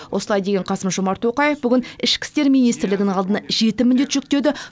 осылай деген қасым жомарт тоқаев бүгін ішкі істер министрлігінің алдына жеті міндет жүктеді